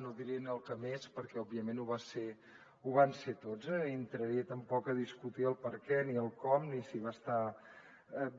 no diria el que més perquè òbviament ho van ser tots no ni entraria tampoc a discutir el perquè ni el com ni si va estar